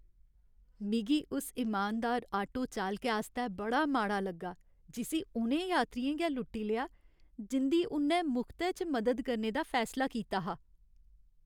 मिगी उस इमानदार आटो चालकै आस्तै बड़ा माड़ा लग्गा जिस्सी उ'नें यात्रियें गै लुट्टी लेआ जिं'दी उ'न्नै मुख्तै च मदद करने दा फैसला कीता हा।